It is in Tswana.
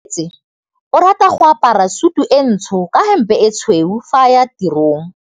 Onkabetse o rata go apara sutu e ntsho ka hempe e tshweu fa a ya tirong.